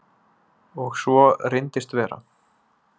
Og svo reyndist vera.